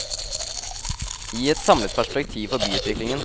Gi et samlet perspektiv for byutviklingen.